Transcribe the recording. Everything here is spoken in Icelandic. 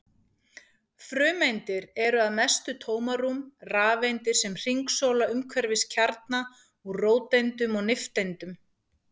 Frumeindir eru að mestu tómarúm, rafeindir sem hringsóla umhverfis kjarna úr róteindum og nifteindum.